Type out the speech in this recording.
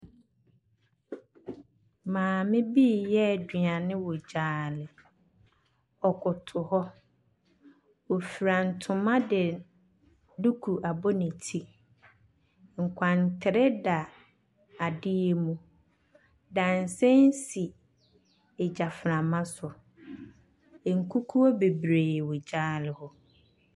Maame bi reyɛ aduane wɔ gyaade. Ɔkoto hɔ. Ɔfiran ntoma de duku abɔ ne ti. Nkwantere da adeɛ mu. Dadesɛn si gyaframa so. Nkukuo bebree wɔ gyaade hɔ.